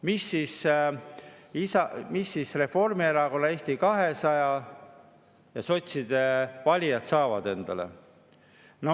Mida siis Reformierakonna, Eesti 200 ja sotside valijad endale saavad?